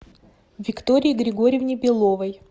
виктории григорьевне беловой